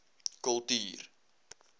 kultuur